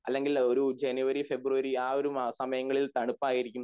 അല്ലെങ്കിൽ ഒരു ജനുവരി ഫെബ്രുവരി അഹ് ഒരു സമയങ്ങളിൽ തണുപ്പായിരിക്കും